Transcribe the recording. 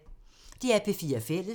DR P4 Fælles